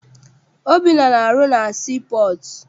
Obinna na-arụ na sii pọọtụ.